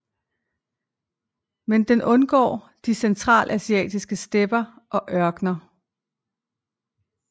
Men den undgår de centralasiatiske stepper og ørkner